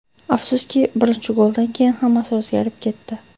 Afsuski, birinchi goldan keyin hammasi o‘zgarib ketdi.